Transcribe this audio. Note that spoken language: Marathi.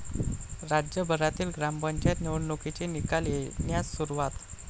राज्यभरातील ग्रामपंचायत निवडणुकांचे निकाल येण्यास सुरूवात